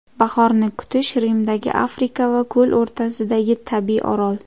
Bahorni kutish, Rimdagi Afrika va ko‘l o‘rtasidagi tabiiy orol.